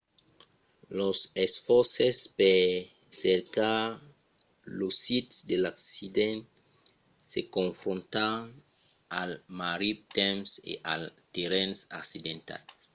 los esfòrces per cercar lo sit de l'accident se confrontan al marrit temps e al terrenh accidentat